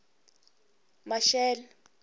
maxele